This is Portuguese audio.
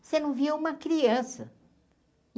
Você não via uma criança.